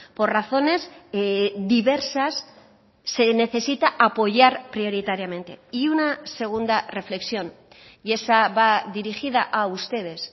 por razones diversas se necesita apoyar prioritariamente y una segunda reflexión y esa va dirigida a ustedes